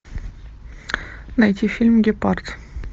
найти фильм гепард